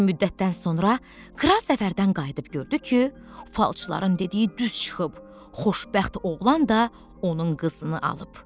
Bir müddətdən sonra kral səfərdən qayıdıb gördü ki, falçıların dediyi düz çıxıb, xoşbəxt oğlan da onun qızını alıb.